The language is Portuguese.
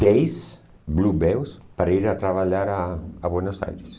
Dez Bluebells para ir a trabalhar a a Buenos Aires.